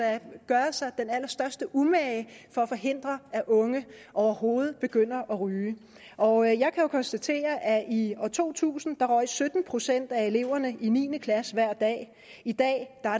gøre sig den allerstørste umage for at forhindre at unge overhovedet begynder at ryge og jeg kan jo konstatere at i år to tusind røg sytten procent af eleverne i niende klasse hver dag og i dag